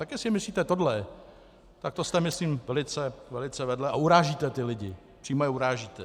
Tak jestli myslíte tohle, tak to jste myslím velice vedle a urážíte ty lidi, přímo je urážíte.